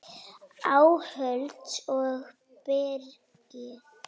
Áhöld og birgðir